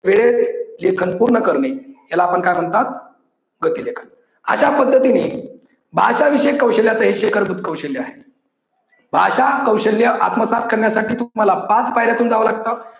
वेळेत लेखन पूर्ण करणे याला आपण काय म्हणतात गती लेखन. अश्या पद्धतीने भाषा विषयक कौशल्याच हे शिखरभूत कौशल्य आहे. भाषा कौशल्य आत्मसात करण्यासाठी तुम्हाला पाच पायऱ्यातून जाव लागतं.